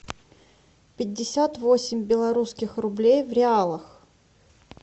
пятьдесят восемь белорусских рублей в реалах